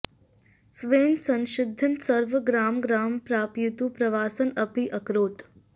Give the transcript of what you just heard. स्वेन संशिधितं सर्वं ग्रामं ग्रामं प्रापयितुं प्रवासम् अपि अकरोत्